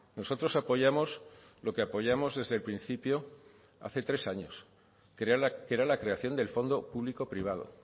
nosotros apoyamos lo que apoyamos desde el principio hace tres años que era la creación del fondo público privado